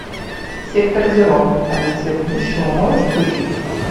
сектор зеро полиция будущего можешь включить